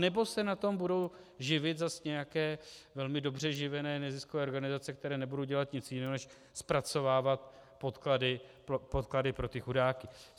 Anebo se na tom budou živit zas nějaké velmi dobře živené neziskové organizace, které nebudou dělat nic jiného než zpracovávat podklady pro ty chudáky.